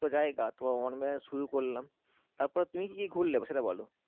তো শুরু করলাম তারপর তুমি কি কি ঘুরলে সেটা বলো?